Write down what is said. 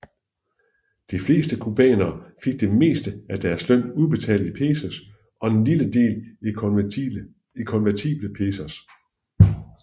De fleste cubanere fik det meste af deres løn udbetalt i pesos og en lille del i konvertible pesos